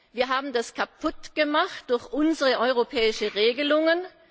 Wir haben das kaputt gemacht durch unsere europäischen Regelungen.